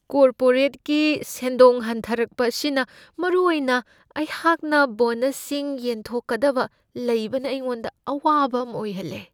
ꯀꯣꯔꯄꯣꯔꯦꯠꯀꯤ ꯁꯦꯟꯗꯣꯡ ꯍꯟꯊꯔꯛꯄ ꯑꯁꯤꯅ ꯃꯔꯨꯑꯣꯏꯅ ꯑꯩꯍꯥꯛꯅ ꯕꯣꯅꯁꯁꯤꯡ ꯌꯦꯟꯊꯣꯛꯀꯗꯕ ꯂꯩꯕꯅ ꯑꯩꯉꯣꯟꯗ ꯑꯋꯥꯕ ꯑꯃ ꯑꯣꯏꯍꯜꯂꯦ ꯫